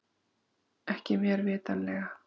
Ekki mér vitanlega